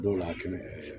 Dɔw la kɛnɛ